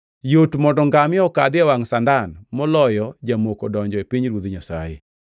Yot mondo ngamia okadhi e wangʼ sandan moloyo jamoko donjo e pinyruoth Nyasaye.”